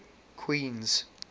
queens